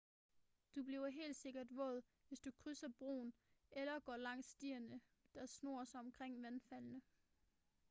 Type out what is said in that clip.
du bliver helt sikkert våd hvis du krydser broen eller går langs stierne der snor sig omkring vandfaldene